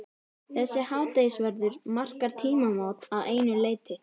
Þessi hádegisverður markar tímamót að einu leyti.